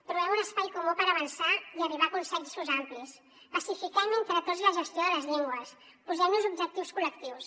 trobem un espai comú per avançar i arribar a consensos amplis pacifiquem entre tots la gestió de les llengües posem nos objectius col·lectius